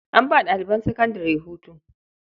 An ba ɗaliban sakandare hutu.